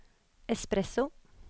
espresso